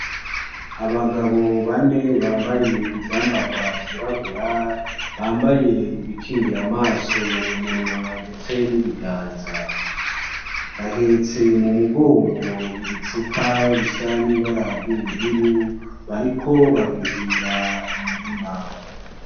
Abagabo bane bambaye ivyambarwa vyirabura, bambaye ibikingira amaso, umunwa ndetse n'ibiganza .Bahetse mumugongo ibicupa bisa nibara ry'ubururu bariko baruhira imirima.